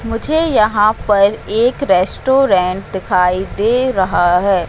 मुझे यहां पर एक रेस्टोरेंट दिखाई दे रहा है।